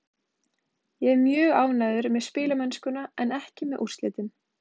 Ég er mjög ánægður með spilamennskuna en ekki með úrslitin.